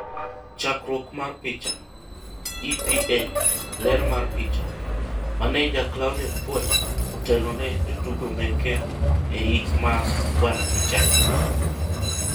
Chakruok mar picha, EPA .Ler mar picha, Maneja Claude Puel amewangoza wachezaji wake kwa mazishi ya Bw Vichai.